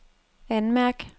anmærk